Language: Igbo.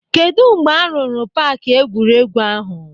Kedụ mgbe a rụrụ paaki egwuregwu ahụ?